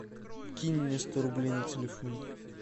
кинь мне сто рублей на телефон